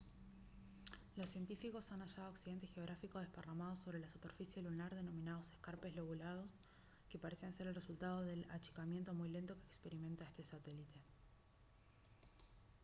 los científicos han hallado accidentes geográficos desparramados sobre la superficie lunar denominados escarpes lobulados que parecen ser el resultado del achicamiento muy lento que experimenta este satélite